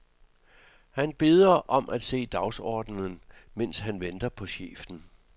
Han beder om at se dagsordenen, mens han venter på chefen.